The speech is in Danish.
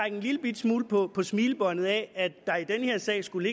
en lillebitte smule på smilebåndet af at der i den her sag skulle